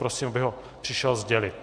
Prosím, aby ho přišel sdělit.